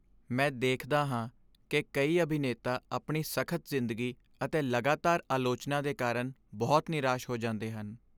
ਮੈਂ ਦੇਖਦਾ ਹਾਂ ਕਿ ਕਈ ਅਭਿਨੇਤਾ ਆਪਣੀ ਸਖ਼ਤ ਜ਼ਿੰਦਗੀ ਅਤੇ ਲਗਾਤਾਰ ਆਲੋਚਨਾ ਦੇ ਕਾਰਨ ਬਹੁਤ ਨਿਰਾਸ਼ ਹੋ ਜਾਂਦੇ ਹਨ।